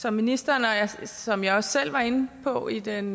som ministeren og som jeg også selv var inde på i den